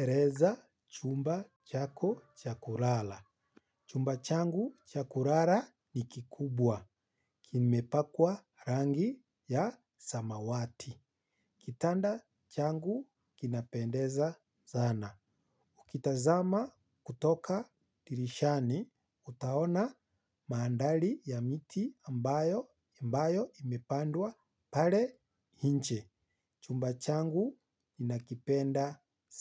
Eleza chumba chako cha kulala. Chumba changu cha kulala ni kikubwa. Kimepakwa rangi ya samawati. Kitanda changu kinapendeza zana. Ukitazama kutoka dirishani, utaona maandali ya miti ambayo imepandwa pale inje. Chumba changu nakipenda